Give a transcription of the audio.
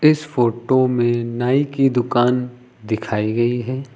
इस फोटो में नाई की दुकान दिखाई गई है।